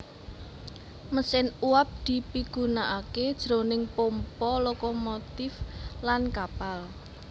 Mesin uwab dipigunakaké jroning pompa lokomotif lan kapal